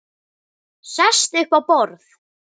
Sest upp á borð.